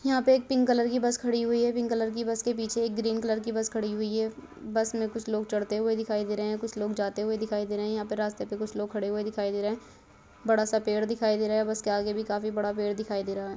यहाँ पर एक पिंक कलर की बस खड़ी हुई है पिंक कलर की बस के पीछे एक ग्रीन कलर की बस खड़ी हुई है। बस मे कुछ लोग चढ़ते हुए दिखाई दे रहे है। कुछ लोग जाते हुए दिखाई दे रहे है यहाँ पर रास्ते पर कुछ लोग खड़े हुए दिखाई दे रहे है बड़ा सा पेड़ दिखाई दे रहा है बस के आगे भी काफी बड़ा पेड़ दिखाई दे रहा है।